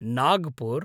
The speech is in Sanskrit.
नागपुर्